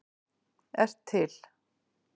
ert til!